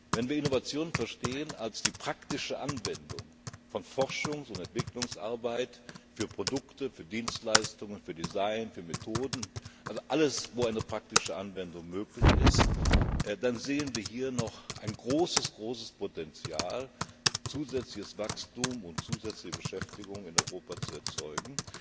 Wenn wir Innovation als die praktische Anwendung von Forschungs und Entwicklungsarbeit für Produkte, Dienstleistungen, Design, Methoden, also für alles, wo eine praktische Anwendung möglich ist, verstehen, dann sehen wir hier noch ein großes Potenzial, zusätzliches Wachstum und zusätzliche Beschäftigung in Europa zu erzeugen.